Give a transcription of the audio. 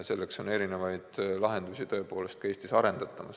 Selleks arendatakse erinevaid lahendusi ka Eestis.